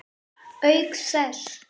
Auk þess.